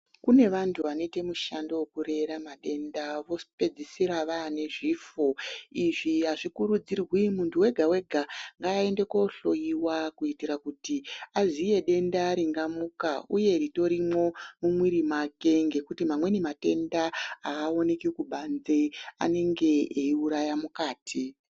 Kune vantu vanoite mushando wekurera matenda vozopedzisira zvane zvifo. Izvi hazvikurudzirwi. Muntu wega wega ngaaende kohloyiwa kuitira kuti aziye denda ringamuka uye ritorimwo mumwiri mwake ngekuti mamweni matenda haaoneki kubanze, anenge eiuraya mukati.